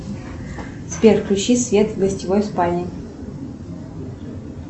сбер включи свет в гостевой спальне